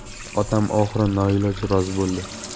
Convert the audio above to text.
Otam oxiri noiloj rozi bo‘ldi.